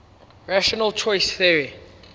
rational choice theory